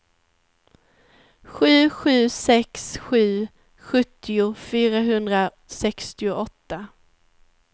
sju sju sex sju sjuttio fyrahundrasextioåtta